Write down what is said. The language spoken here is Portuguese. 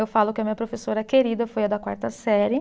Eu falo que a minha professora querida foi a da quarta série.